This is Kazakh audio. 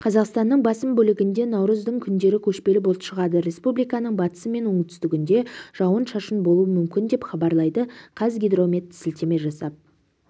қазақстанның басым бөлігінде наурыздың мен күндері көшпелі бұлт шығады республиканың батысы мен оңтүстігінде жауын-шашын болуы мүмкін деп хабарлайды қазгидромет сілтеме жасап